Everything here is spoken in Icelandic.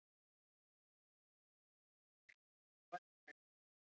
Líf þeirra saman og þá sérstaklega kynlífið skortir réttlætingu.